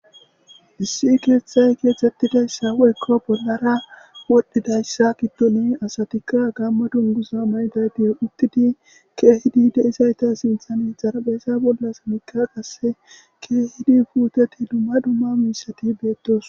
issi keeththay keethettidayssa woykko bollara wodhdhidayssa kiddoni asatikka gamma dungusa mayday di uttidi keehidi deizayta sinthane zarabeesa bollas mikka qasse keehidi puuteti dumma dumma miisati beettos